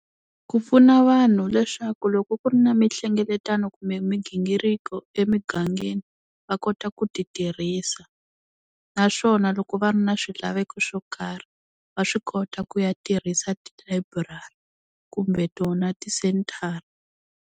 Ku pfuna vanhu leswaku loko ku ri na mihlengeletano kumbe migingiriko emigangeni va kota ku ti tirhisa, naswona loko va ri na swilaveko swo karhi va swi kota ku ya tirhisa tilayiburari kumbe tona ti-sentarha.